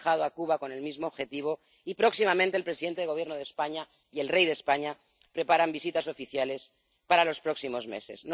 han viajado a Cuba con el mismo objetivo y, próximamente, lo harán el presidente del Gobierno de España y el rey de España, que preparan visitas oficiales para los próximos meses.